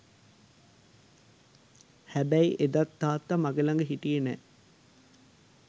හැබැයි එදත් තාත්තා මගේ ලග හිටියෙ නෑ.